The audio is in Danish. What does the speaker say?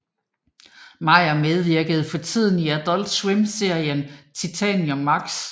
Meyer medvirker fortiden i Adult Swim serien Titan Maximum